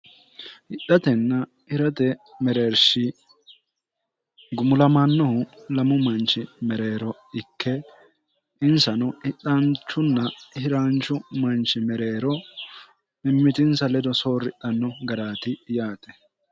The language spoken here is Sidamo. hidhatenna hirate mereershi gumulamaannohu lamu manchi mereero ikke insano idhaanchunna hiraanchu manchi mereero mimmitinsa ledo soorridhanno garaati yaate